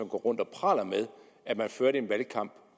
går rundt og praler med at man førte en valgkamp